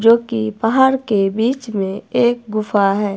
जो कि पहाड़ के बीच में एक गुफा है।